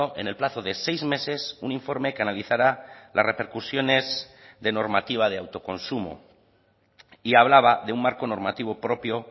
en el plazo de seis meses un informe que analizara las repercusiones de normativa de autoconsumo y hablaba de un marco normativo propio